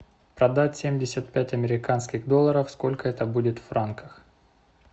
продать семьдесят пять американских долларов сколько это будет в франках